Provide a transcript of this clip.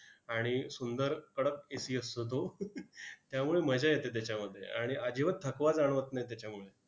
आणि सुंदर, कडक AC असतो तो. त्यामुळे मजा येते त्याच्यामध्ये. आणि अजिबात थकवा जाणवत नाही त्याच्यामुळे.